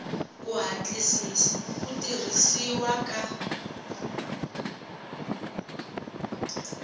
ku hatlisisa ku tirhisiwa ka